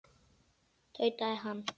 tautaði hann.